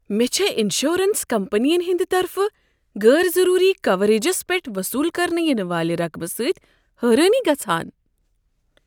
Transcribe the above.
مےٚ چھےٚ انشورنس کمپنین ہنٛد طرفہٕ غٲر ضروٗری کوریجس پٮ۪ٹھ وصوٗل کرنہٕ ینہٕ والہ رقمہٕ سۭتۍ حٲرٲنی گژھان۔